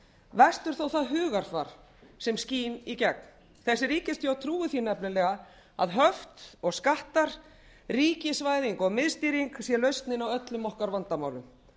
verst er þó það hugarfar sem skín í gegn þessi ríkisstjórn trúir því nefnilega að höft og skattar ríkisvæðing og miðstýring sé lausnin á öllum okkar vandamálum